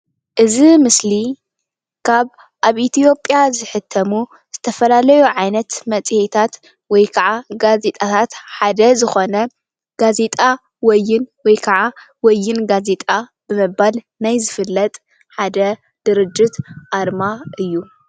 እዚ ምስሊ ካብ አብ ኢትዮጵያ ዝሕተሙ ዝተፈላለዩ ዓይነት መፅሄታት ወይ ጋዜጣታት ሓደ ዝኮነ ጋዜጣ ወይን ወይ ከዓ ወይን ጋዜጣ ብምባል ናይ ዝፍለጥ ሓደ ድርጅት አርማ እዩ።